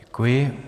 Děkuji.